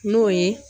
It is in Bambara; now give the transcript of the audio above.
N'o ye